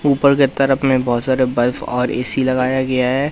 ऊपर के तरफ में बहुत सारे बल्ब और एक ए_सी लगाया गया है।